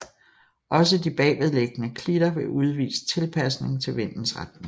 Også de bagved liggende klitter vil udvise tilpasning til vindens retning